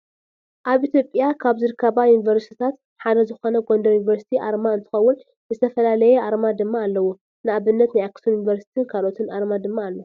ኣብ ኢትዮጵያ ካብ ዝርከባ ዩኒቨርስትታት ሓደ ዝኮነ ጎንደር ዩኒቨርሲቲ ኣርማ እንትከውን ዝተፈላለየ ኣርማ ድማ ኣለዉ። ንኣብነት ናይ ኣክሱም ዩኒቨርስትን ካልኦትን ኣርማ ድማ ኣሎ።